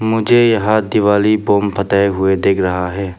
मुझे यहां दिवाली बॉम्ब फताया हुए दिख रहा है।